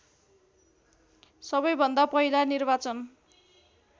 सबैभन्दा पहिला निर्वाचन